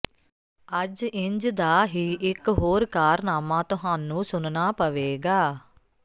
ਅੱਜ ਇੰਜ ਦਾ ਹੀ ਇਕ ਹੋਰ ਕਾਰਨਾਮਾ ਤੁਹਾਨੂੰ ਸੁਣਨਾ ਪਵੇਗਾ